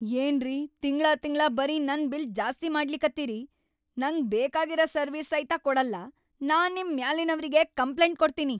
ಏನ್ರಿ ತಿಂಗ್ಳಾತಿಂಗ್ಳಾ ಬರೀ ನನ್‌ ಬಿಲ್ ಜಾಸ್ತಿ ಮಾಡ್ಲಿಕತ್ತೀರಿ, ನಂಗ್ ಬೇಕಾಗಿರ ಸರ್ವೀಸ್‌ ಸೈತ ಕೊಡಲ್ಲಾ. ನಾ ನಿಮ್‌ ಮ್ಯಾಲಿನವ್ರಿಗಿ ಕಂಪ್ಲೇಂಟ್‌ ಕೊಡ್ತೀನಿ.